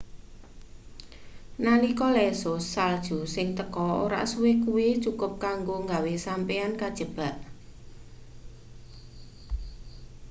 nalika lesus salju sing teko ora suwe kuwi cukup kanggo gawe sampeyan kajebak